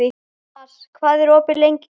Mars, hvað er opið lengi í Kvikk?